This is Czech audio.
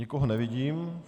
Nikoho nevidím.